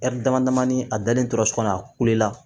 dama damani a dalen tora so kɔnɔ a kule la